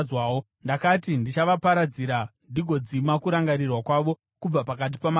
Ndakati ndichavaparadzira ndigodzima kurangarirwa kwavo kubva pakati pamarudzi,